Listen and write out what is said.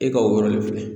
E ka o yɔrɔ de filɛ